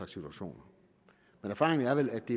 situationer men erfaringen er vel at det